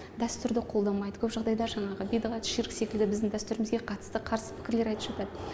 дәстүрді қолдамайды көп жағдайда жаңағы бидға ширк секілді біздің дәсүрімізге қатыст қарсы пікірлер айтып жатады